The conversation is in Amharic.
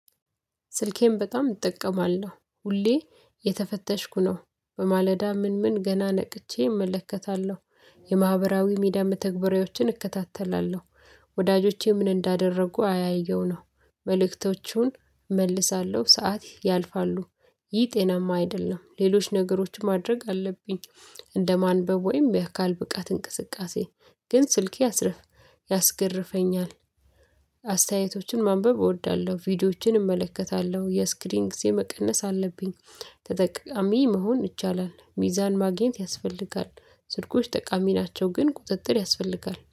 ስልኬን በጣም እጠቀማለሁ ሁሌ የተፈተሽኩ ነው በማለዳ ምን ምን ገና ነቅቼ እመለከታለሁ የማህበራዊ ሚዲያ መተግበሪያዎችን እከታተላለሁ ወዳጆቼ ምን እንዳደረጉ አያለው ነው መልእክቶቹን እመልሳለሁ ሰዓት ያልፋሉ ይህ ጤናማ አይደለም ሌሎች ነገሮችን ማድረግ አለብኝ እንደማንበብ ወይም የአካል ብቃት እንቅስቃሴ ግን ስልኬ አስርፍ ያስገርፈኛል አስተያየቶችን ማንበብ እወዳለ፤ ቪዲዮዎችን እመለከታለሁ የስክሪን ጊዜ መቀነስ አለብኝ ተጠቃሚ መሆን ይቻላል ሚዛን ማግኘት ያስፈልጋል ስልኮች ጠቃሚ ናቸው ግን ቁጥጥር ያስፈልጋል።